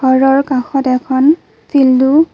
ঘৰৰ কাষত এখন ফিল্ডো--